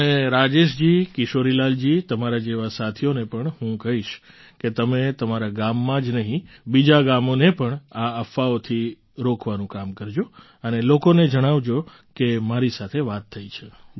અને રાજેશજી કિશોરીલાલજી તમારા જેવા સાથીઓને પણ હું કહીશ કે તમે તમારા ગામમાં જ નહીં બીજાં ગામોને પણ આ અફવાઓથી રોકવાનું કામ કરજો અને લોકોને જણાવજો કે મારી સાથે વાત થઈ છે